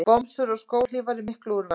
Bomsur og skóhlífar í miklu úrvali.